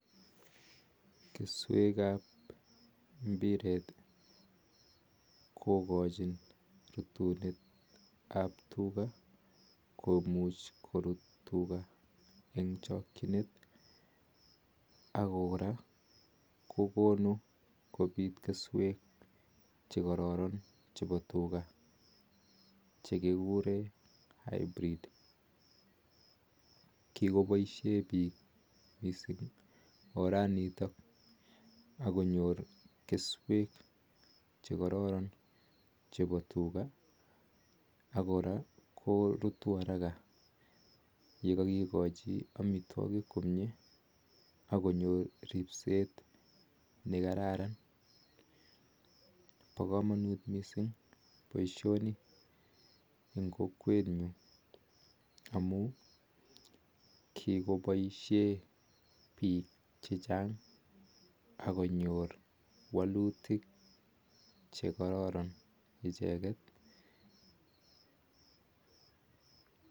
Kesweek ap mbireet kokachin korut tuga eng chakchinet ako koraa kokonuu kopit kesweek chekararan eng tuga kikopaisheen piik kesweeechutok pa tuga ak kora korutuu araka kikachii chutok pakamanut mising poishonii missing eng kokwet nyuun amun kikonyor walutik icheget missing